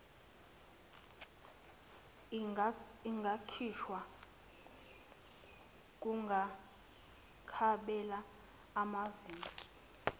ingakhishwa kungakapheli amaviki